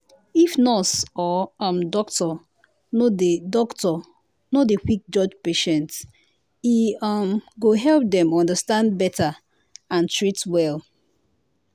if nurse or um doctor no dey doctor no dey quick judge patient e um go help dem understand better and treat well.